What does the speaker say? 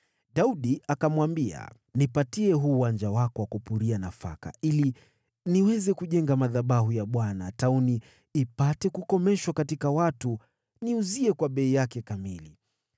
Daudi akamwambia, “Nipatie huu uwanja wako wa kupuria nafaka ili niweze kujenga madhabahu ya Bwana tauni ipate kukomeshwa katika watu. Niuzie kwa bei yake kamili.”